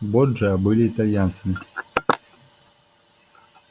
борджиа были итальянцами